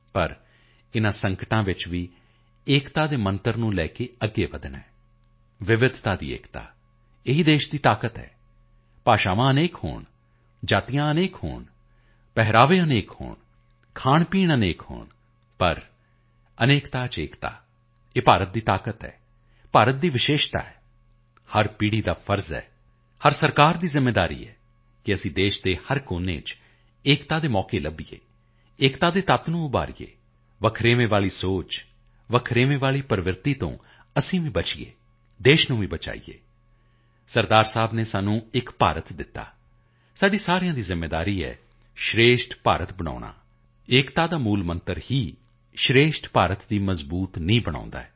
ਪਰ ਇਨ੍ਹਾਂ ਸੰਕਟਾਂ ਵਿਚ ਵੀ ਏਕਤਾ ਦੇ ਮੰਤਰ ਨੂੰ ਲੈ ਕੇ ਅੱਗੇ ਵਧਣਾ ਹੈ ਵਿਵਧਤਾ ਵਿੱਚ ਏਕਤਾ ਇਹ ਹੀ ਦੇਸ਼ ਦੀ ਤਾਕਤ ਹੈ ਭਾਸ਼ਾਵਾਂ ਅਨੇਕ ਹੋਣ ਜਾਤੀਆਂ ਅਨੇਕ ਹੋਣ ਪਹਿਰਾਵੇ ਅਨੇਕ ਹੋਣ ਖਾਣਪੀਣ ਅਨੇਕ ਹੋਣ ਪਰ ਅਨੇਕਤਾ ਵਿੱਚ ਏਕਤਾ ਇਹ ਭਾਰਤ ਦੀ ਤਾਕਤ ਹੈ ਭਾਰਤ ਦੀ ਵਿਸ਼ੇਸ਼ਤਾ ਹੈ ਹਰ ਪੀੜ੍ਹੀ ਦੀ ਇੱਕ ਜ਼ਿੰਮੇਵਾਰੀ ਹੁੰਦੀ ਹੈ ਹਰ ਸਰਕਾਰਾਂ ਦੀ ਜ਼ਿੰਮੇਵਾਰੀ ਹੈ ਕਿ ਅਸੀਂ ਦੇਸ਼ ਦੇ ਹਰ ਕੋਨੇ ਵਿੱਚ ਏਕਤਾ ਦੇ ਅਵਸਰ ਲੱਭੀਏ ਏਕਤਾ ਦੇ ਤੱਤਾਂ ਨੂੰ ਉਭਾਰੀਏ ਵੱਖਵਾਦ ਵਾਲੀ ਸੋਚ ਵੱਖਵਾਦ ਵਾਲੀ ਪ੍ਰਵਿਰਤੀ ਤੋਂ ਅਸੀਂ ਵੀ ਬਚੀਏ ਦੇਸ਼ ਨੂੰ ਵੀ ਬਚਾਈਏ ਸਰਦਾਰ ਸਾਹਿਬ ਨੇ ਸਾਨੂੰ ਇੱਕ ਭਾਰਤ ਦਿੱਤਾ ਸਾਡੀ ਸਾਰਿਆਂ ਦੀ ਜ਼ਿੰਮੇਵਾਰੀ ਹੈ ਸ਼੍ਰੇਸ਼ਠ ਭਾਰਤ ਬਣਾਉਣਾ ਏਕਤਾ ਦਾ ਮੂਲ ਮੰਤਰ ਹੀ ਸ਼੍ਰੇਸ਼ਠ ਭਾਰਤ ਦੀ ਮਜ਼ਬੂਤ ਨੀਂਹ ਬਣਾਉਣਾ ਹੈ